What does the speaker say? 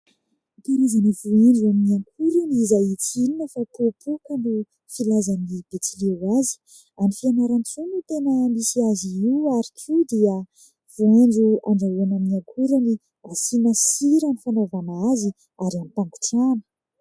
Karazany voanjo amin'ny akorany izay tsy inona fa popoka no filazan'ny Betsileo azy. Any Fianarantsoa no tena misy azy io ary koa dia voanjo andrahoana amin'ny akorany, asiana sira ny fanaovana azy ary hampangotrahany.